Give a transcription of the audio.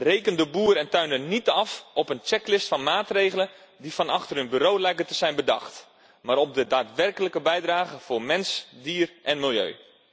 Reken de boer en tuinder niet af op een checklist van maatregelen die van achter een bureau lijken te zijn bedacht, maar op de daadwerkelijke bijdrage voor mens, dier en milieu.